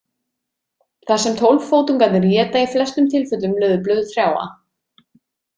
Þar sem tólffótungarnir éta í flestum tilfellum laufblöð trjáa.